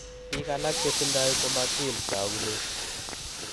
Biik alak chetindo komatins taaakunet.